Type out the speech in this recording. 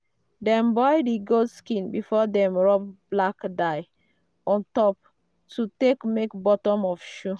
dem boil the goat skin before dem rub black dye on top to take make bottom of shoe